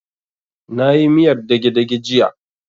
Na yi miyar dage-dage jiya